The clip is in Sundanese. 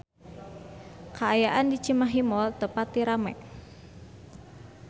Kaayaan di Cimahi Mall teu pati rame